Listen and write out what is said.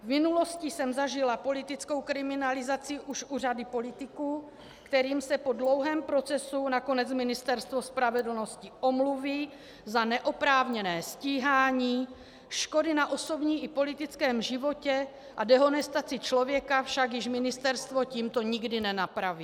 V minulosti jsem zažila politickou kriminalizaci už u řady politiků, kterým se po dlouhém procesu nakonec Ministerstvo spravedlnosti omluví za neoprávněné stíhání, škody na osobním i politickém životě a dehonestaci člověka však již ministerstvo tímto nikdy nenapraví.